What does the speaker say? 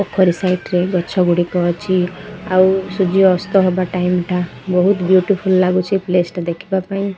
ପୋଖରୀ ସାଇଟ ରେ ଗଛ ଗୁଡିକ ଅଛି ଆଉ ସୂର୍ଯ୍ୟ ଅସ୍ତ ହେବା ଟାଇମି ଟା ବହୁତ ବିଉଟିଫୁଲ୍ ଲାଗୁଚି ପ୍ଲେସ ଟା ଦେଖିବା ପାଇଁ।